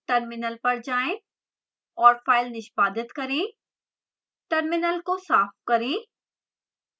terminal पर जाएं और file निष्पादित करें terminal को साफ करें